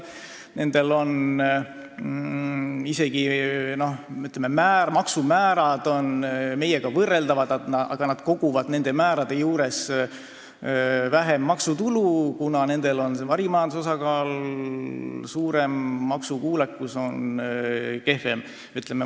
Nende maksumäärad on meie omadega võrreldavad, aga nad koguvad nende määrade juures vähem maksutulu, kuna nendel on varimajanduse osakaal suurem, maksukuulekus on kehvem.